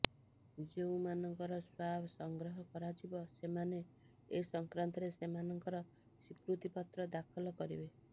ଯେଉଁମାନଙ୍କର ସ୍ୱାବ ସଂଗ୍ରହ କରାଯିବ ସେମାନେ ଏ ସଂକ୍ରାନ୍ତରେ ସେମାନଙ୍କର ସ୍ୱୀକୃତିପତ୍ର ଦାଖଲ କରିବେ